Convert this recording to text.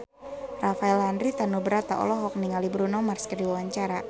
Rafael Landry Tanubrata olohok ningali Bruno Mars keur diwawancara